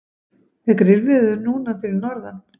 er grillveður núna fyrir norðan